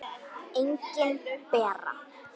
Engin Bera.